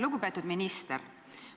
Lugupeetud minister!